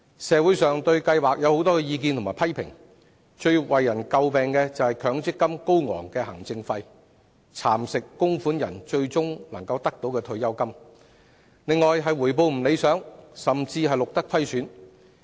社會上對強積金計劃有很多意見與批評，其中最為人詬病的，包括高昂的行政費蠶食了供款人最終可以提取的退休金，以及回報未符理想，甚至錄得虧損。